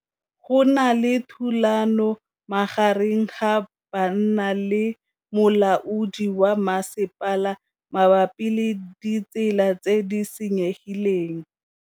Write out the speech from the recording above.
Go na le thulanô magareng ga banna le molaodi wa masepala mabapi le ditsela tse di senyegileng.